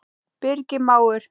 Birgir mágur.